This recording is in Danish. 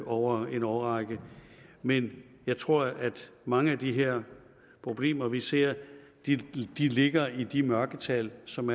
over en årrække men jeg tror at mange af de her problemer vi ser ligger i de mørketal som